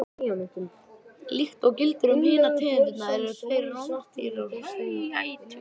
Líkt og gildir um hinar tegundirnar eru þeir rándýr og hræætur.